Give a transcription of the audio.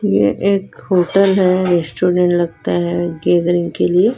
ये एक होटल है रेस्टोरेंट लगता है गैदरिंग के लिए।